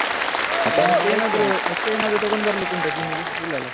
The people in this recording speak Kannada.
ಹಾ ಸರಿ ಏನಾದ್ರು extra ಏನಾದ್ರು ತಗೊಂಡು ಬರ್ಲಿಕ್ಕೆ ಉಂಟಾ gym ಗೆ, ಇಲ್ಲಲ್ಲಾ?